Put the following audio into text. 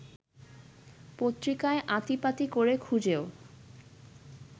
পত্রিকায় আঁতিপাতি করে খুঁজেও